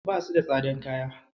Basu da tsadan kaya.